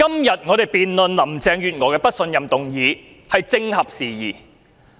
今天，我們辯論對林鄭月娥不信任的議案是正合時宜。